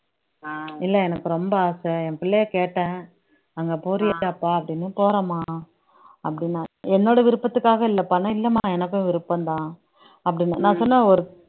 இல்லை எனக்கு ரொம்ப ஆசை என் பிள்ளையை கேட்டேன் அங்க போறியே டப்பா அப்படின்னு போறேம்மா அப்படின்னாரு என்னோட விருப்பத்துக்காக இல்லப்பா இல்லம்மா எனக்கும் விருப்பம்தான் அப்படின்னு நான் சொன்னேன் ஒரு